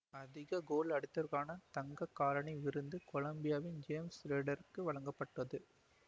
அதிக கோல் அடித்தவருக்கான தங்க காலணி விருந்து கொலம்பியாவின் ஜேம்சு ரொட்ரிகசுக்கு வழங்கப்பட்டது